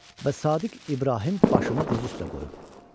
Və Sadiq İbrahim başımı diz üstə qoyub.